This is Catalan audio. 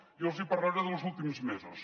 jo els hi parlaré de los últims mesos